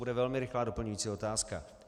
Bude velmi rychlá doplňující otázka.